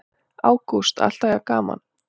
Ágúst: Alltaf jafn gaman?